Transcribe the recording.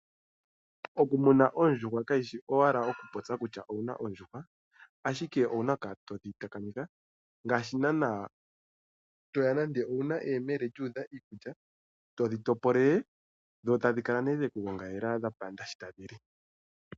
Okumuna oondjuhwa kaku shi owala okupopya kutya owuna oondjuhwa. Ashike owuna okukala to dhi takamitha ngaashi naanaa toya nande owuna eyemele lyuudha iikulya, to dhi topolele dho tadhi kala nee dhe ku gongalela dha panda sho tadhi li.